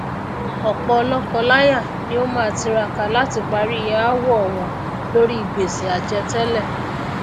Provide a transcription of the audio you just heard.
òpò lókọ láyà ni ó má tiraka láti parí aáwò wọn lóri gbèsè àjẹ télè